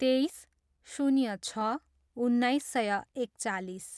तेइस, शून्य छ, उन्नाइस सय एकचालिस